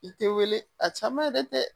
I tɛ wele a caman yɛrɛ tɛ